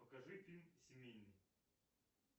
покажи фильм семейный